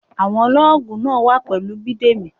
Àwọn lọ́ọ̀gù náà wà pẹ̀lú Bidemi.